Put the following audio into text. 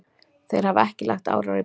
Þeir hafa ekki lagt árar í bát.